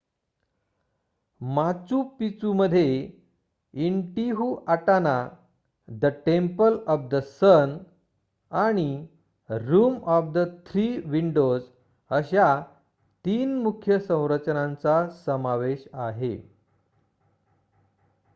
Machu पिचूमध्ये Intihuatana the temple of the sun आणि room of the three windows अशा 3 मुख्य संरचनांचा समावेश आहे